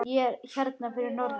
Ég er hérna fyrir norðan.